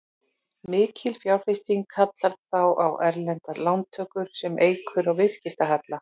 Mikil fjárfesting kallar þá á erlendar lántökur sem eykur á viðskiptahalla.